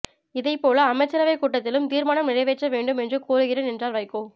இதேபோல அமைச்சரவைக் கூட்டத்திலும் தீர்மானம் நிறைவேற்ற வேண்டும் என்று கோருகிறேன் என்றார் வைகோ